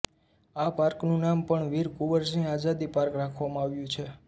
આ પાર્કનું નામ પણ વીર કુંવરસિંહ આઝાદી પાર્ક રાખવામાં આવ્યું છે